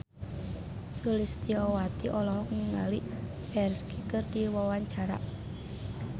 Sulistyowati olohok ningali Ferdge keur diwawancara